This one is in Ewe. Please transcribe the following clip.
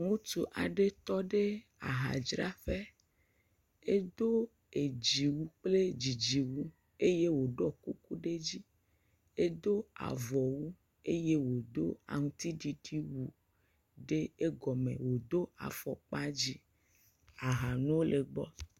Ŋutsu aɖe tɔ ɖe ahadzraƒe. Edo dziwui kple dzidziwu eye woɖɔ kuku ɖe edzi. Edo avɔwu eye wodo aŋutiɖiɖi wu ɖe egɔme, wodo afɔkpa dzɛ̃. Aha nuwo le gbɔ.